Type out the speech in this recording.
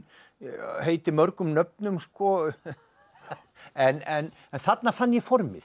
heitið mörgum nöfnum en þarna fann ég formið